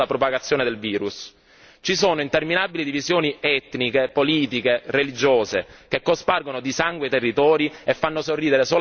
Ci sono interminabili divisioni etniche, politiche, religiose che cospargono di sangue i territori e fanno sorridere solamente i mercanti di morte.